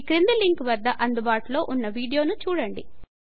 ఈ క్రింది లింకు వద్ద అందుబాటులో ఉన్న వీడియో ను చూడండి